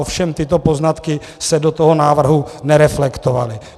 Ovšem tyto poznatky se do toho návrhu nereflektovaly.